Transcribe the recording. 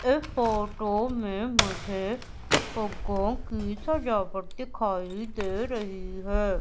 इस फोटो में मुझे फुग्गों की सजावट दिखाई दे रही है।